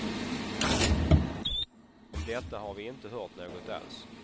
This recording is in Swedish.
Om detta har vi inte hört något alls.